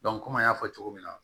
komi an y'a fɔ cogo min na